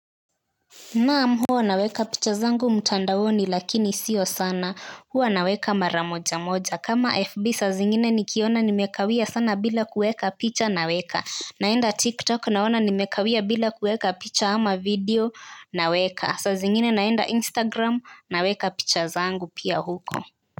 Naam huwa naweka picha zangu mtandaoni lakini sio sana huwa naweka maramoja moja kama FB saa zingine nikiona nimekawia sana bila kuweka picha naweka. Naenda TikTok naona nimekawia bila kuweka picha ama video naweka saa zingine naenda Instagram naweka picha zangu pia huko.